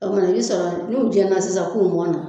O kumana i bi sɔrɔ n'u jeni na sisan k'u mɔna